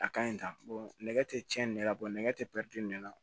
A ka ɲi tan nɛgɛ tɛ cɛnni la nɛgɛ tɛ pɛrɛn ne la